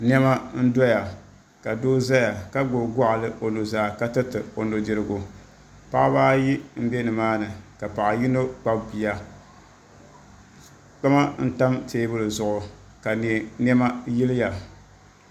Nɛma n-doya ka doo zaya ka gbubi gɔɣili o nuzaa ka tiriti o nudirigu paɣiba ayi m-be nimaani ka paɣa yino kpabi bia kpama n-tam teebuli zuɣu ka nɛma yiliya.